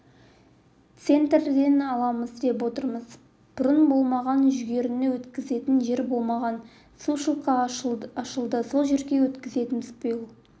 центнерден аламыз деп отырмыз бұрын болмаған жүгеріні өткізетін жер болмаған сушилка ашылды сол жерге өткізетінбіз биыл